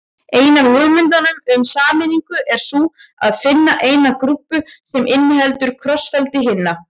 Ein af hugmyndunum um sameiningu er sú að finna eina grúpu sem inniheldur krossfeldi hinna.